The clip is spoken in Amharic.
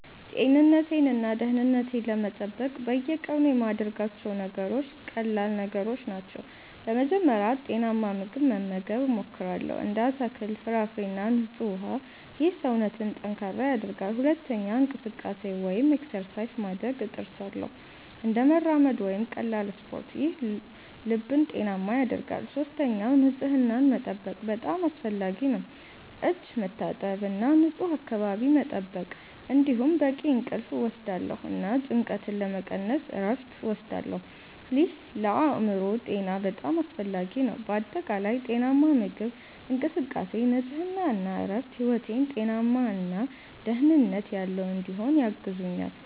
ጤንነቴን እና ደህንነቴን ለመጠበቅ በየቀኑ የምያደርጋቸው ነገሮች ቀላል ነገሮች ናቸው። በመጀመሪያ ጤናማ ምግብ መመገብ እሞክራለሁ፣ እንደ አትክልት፣ ፍራፍሬ እና ንጹህ ውሃ። ይህ ሰውነትን ጠንካራ ያደርጋል። ሁለተኛ እንቅስቃሴ (exercise) ማድረግ እጥርሳለሁ፣ እንደ መራመድ ወይም ቀላል ስፖርት። ይህ ልብን ጤናማ ያደርጋል። ሶስተኛ ንጽህናን መጠበቅ በጣም አስፈላጊ ነው፣ እጅ መታጠብ እና ንፁህ አካባቢ መጠበቅ። እንዲሁም በቂ እንቅልፍ እወስዳለሁ እና ጭንቀትን ለመቀነስ እረፍት እወስዳለሁ። ይህ ለአእምሮ ጤና በጣም አስፈላጊ ነው። በአጠቃላይ ጤናማ ምግብ፣ እንቅስቃሴ፣ ንጽህና እና እረፍት ሕይወቴን ጤናማ እና ደህንነት ያለው እንዲሆን ያግዙኛል